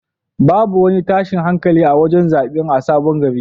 Babu wani tashin hankali a wajen zaɓen a sabon gari.